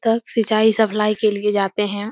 तक सिंचाई सप्लाई के लिए जाते हैं।